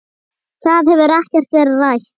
Það hefur ekkert verið rætt.